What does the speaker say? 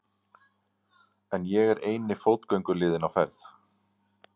En ég er eini fótgönguliðinn á ferð.